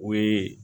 O ye